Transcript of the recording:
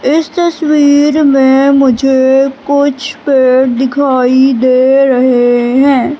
इस तस्वीर में मुझे कुछ पेड़ दिखाई दे रहे है।